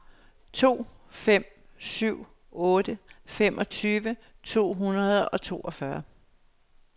to fem syv otte femogtyve to hundrede og toogfyrre